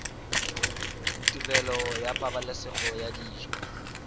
tirelo ya pabalesego ya dijo